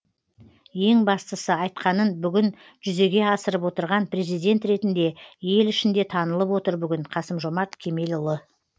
ең бастысы айтқанын бүгін жүзеге асырып отырған президент ретінде ел ішінде танылып отыр бүгін қасым жомарт кемелұлы